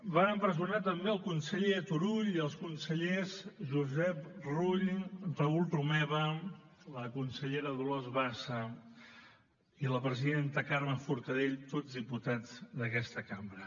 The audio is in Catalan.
van empresonar també el conseller turull i els consellers josep rull raül romeva la consellera dolors bassa i la presidenta carme forcadell tots diputats d’aquesta cambra